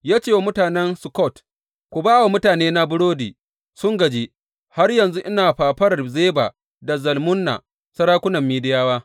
Ya ce wa mutanen Sukkot, Ku ba wa mutanena burodi; sun gaji, har yanzu ina fafarar Zeba da Zalmunna, sarakunan Midiyawa.